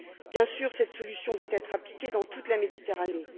Bien sûr, cette solution doit être appliquée dans toute la Méditerranée.